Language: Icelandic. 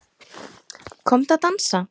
Komdu að dansa